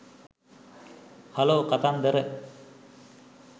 hello කතන්දර